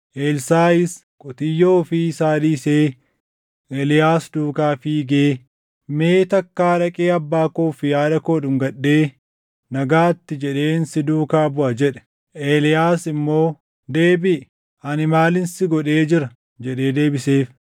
Elsaaʼis qotiyyoo ofii isaa dhiisee Eeliyaas duukaa fiigee, “Mee takkaa dhaqee abbaa koo fi haadha koo dhungadhee, ‘Nagaatti’ jedheen si duukaa buʼaa” jedhe. Eeliyaas immoo, “Deebiʼi; ani maalin si godhee jira?” jedhee deebiseef.